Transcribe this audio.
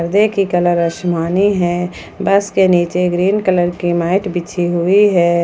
वै की कलर आसमानी है बस के नीचे ग्रीन कलर की मैट बिछी हुई है।